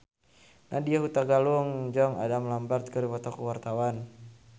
Nadya Hutagalung jeung Adam Lambert keur dipoto ku wartawan